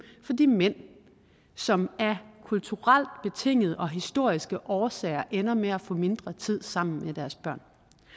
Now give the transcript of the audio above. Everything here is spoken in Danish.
for de mænd som af kulturelt betingede og historiske årsager ender med at få mindre tid sammen med deres børn